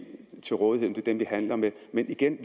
til rådighed er dem vi handler med men igen